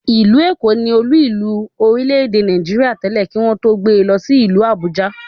Ìlú Èkó ni Olú ìlú orílẹ̀ èdè Nàìjíríà tẹ́lẹ̀, kí wọ́n tó gbe lọ sí ìlú Àbújá